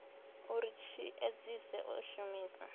uri tshi edzise u shumisa